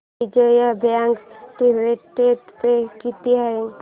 Vijaya bank dividend pay किती आहे